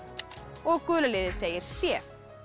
og gula liðið segir c